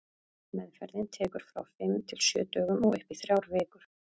Meðferðin tekur frá fimm til sjö dögum og upp í þrjár vikur.